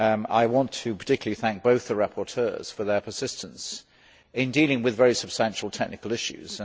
I want to particularly thank both the rapporteurs for their persistence in dealing with very substantial technical issues.